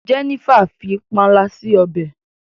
Jenifer fí panla si ọbẹ.